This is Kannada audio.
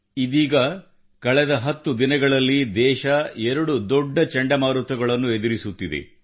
ಇದೀಗ ಕಳೆದ 10 ದಿನಗಳಲ್ಲಿ ದೇಶ 2 ದೊಡ್ಡ ಚಂಡಮಾರುತಗಳನ್ನು ಎದುರಿಸುತ್ತಿದೆ